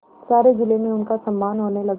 सारे जिले में उनका सम्मान होने लगा